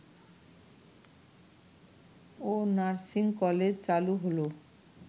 ও nursing college চালু হলো